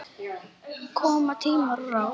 Koma tímar, koma ráð.